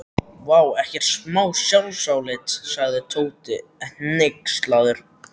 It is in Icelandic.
Vá, ekkert smá sjálfsálit sagði Tóti hneykslaður.